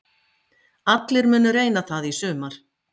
Allir munu reyna það í sumar